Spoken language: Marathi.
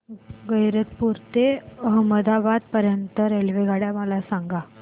गैरतपुर ते अहमदाबाद पर्यंत च्या रेल्वेगाड्या मला सांगा